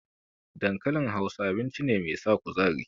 Dankalin Hausa, abinci ne mai sa kuzari.